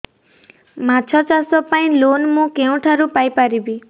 ମାଛ ଚାଷ ପାଇଁ ଲୋନ୍ ମୁଁ କେଉଁଠାରୁ ପାଇପାରିବି